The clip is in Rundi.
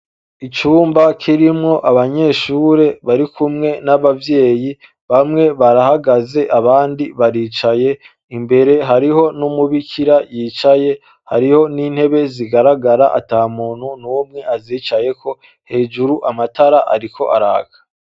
Icumba kirimwo abanyeshure barikumwe n'abavyeyi bamwe barahagaze abandi baricaye imbere hariho n'Umubikira yicaye, hariho n'intebe zigaragara atamuntu numwe azicayeko hejuru amatara ariko araka.